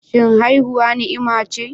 Shin haihuwa ni'ima ce?